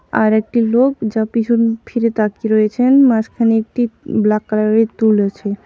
আর একটি লোক যা পিছন ফিরে তাকিয়ে রয়েছেন মাঝখানে একটি ব্ল্যাক কালারের তুল আছে।